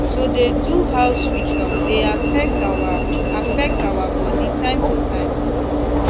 to dey do house ritual dey affect our affect our body time to time